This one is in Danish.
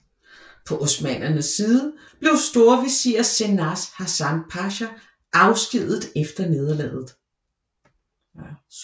På osmannernes side blev storvisir Cenaze Hasan Pasha afskediget efter nederlaget